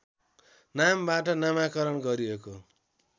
नामबाट नामाकरण गरिएको